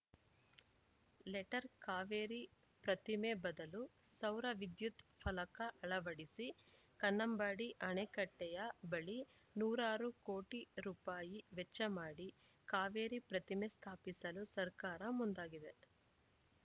letter Kaveri ಪ್ರತಿಮೆ ಬದಲು ಸೌರವಿದ್ಯುತ್‌ ಫಲಕ ಅಳವಡಿಸಿ ಕನ್ನಂಬಾಡಿ ಆಣೆಕಟ್ಟೆಯ ಬಳಿ ನೂರಾರು ಕೋಟಿ ರುಪಾಯಿ ವೆಚ್ಚಮಾಡಿ ಕಾವೇರಿ ಪ್ರತಿಮೆ ಸ್ಥಾಪಿಸಲು ಸರ್ಕಾರ ಮುಂದಾಗಿದೆ